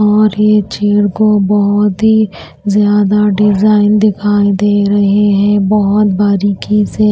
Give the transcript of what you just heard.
और ये चेयर को बहुत ही ज्यादा डिजाइन दिखाई दे रहे हैं बहुत बारीकी से।